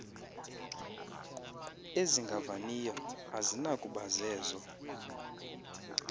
ezingavaniyo azinakuba zezo